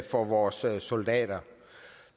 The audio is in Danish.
for vores soldater